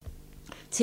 TV 2